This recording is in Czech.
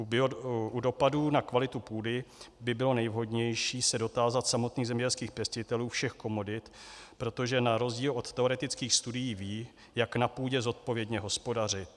U dopadů na kvalitu půdy by bylo nejvhodnější se dotázat samotných zemědělských pěstitelů všech komodit, protože na rozdíl od teoretických studií vědí, jak na půdě zodpovědně hospodařit.